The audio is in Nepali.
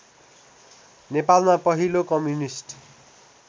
नेपालमा पहिलो कम्युनिस्ट